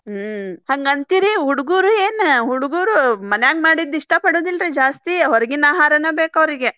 ಹ್ಮ್‌ ಹಂಗ ಅಂತೀರಿ ಹುಡಗುರೇನ್ ಹುಡಗುರ್ ಮನ್ಯಾಗ ಮಾಡಿದ್ದ ಇಷ್ಟ ಪಡುದಿಲ್ರಿ ಜಾಸ್ತಿ ಹೊರಗಿನ ಆಹಾರನ ಬೇಕ್ ಅವ್ರಿಗೆ.